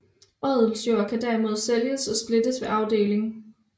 Odelsjord kan derimod sælges og splittes ved arvedeling